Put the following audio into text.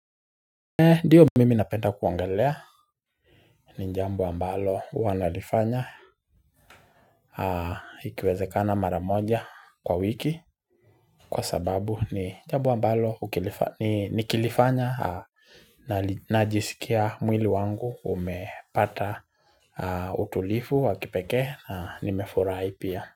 Dio mimi napenta kuongelea ni njambo wa mbalo huwanalifanya ikiwezekana maramoja kwa wiki Kwa sababu ni njambo ambalo nikilifanya na najisikia mwili wangu umepata utulifu wakipeke na nimefurai pia.